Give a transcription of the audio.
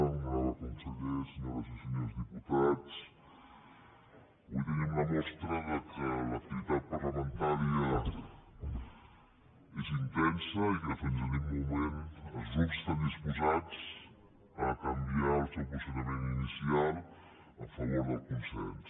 honorable conseller senyores i senyors diputats avui tenim la mostra que l’activitat parlamentària és intensa i que fins a l’últim moment els grups estan disposats a canviar el seu posicionament inicial a favor del consens